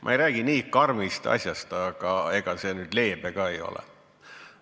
Ma ei räägi nii karmist asjast, aga ega see nüüd leebe ka ei ole.